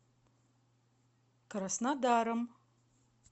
краснодаром